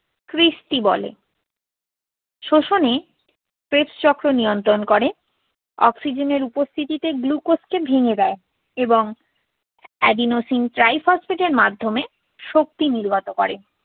cristae বলে। স্বশনে ক্রেবসচক্র নিয়ন্ত্রণ করে। অক্সিজেনের উপস্থিতিতে glucose কে ভেঙে দেয় এবং adenosine triphosphate এর মাধ্যমে শক্তি নির্গত করে।